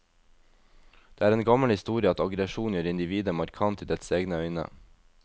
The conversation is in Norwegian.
Det er en gammel historie at aggresjon gjør individet markant i dets egne øyne.